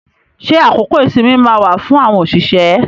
Ṣé àkókò ìsinmi máa wà fún àwọn òṣìṣẹ́?